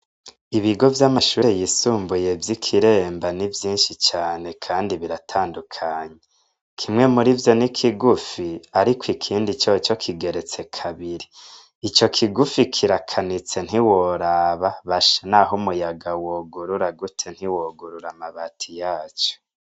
Ibigo vy'amashure yisumbuye vy'i Kiremba ni vyinshi cane kandi biratandukanye. Kimwe muri vyo ni kigufi, ariko ikindi coco kigeretse kabiri. Ico kigufi kirakanitse ntiworaba, basha naho umuyaga wogurura gute ntiwogurura amabati yaco.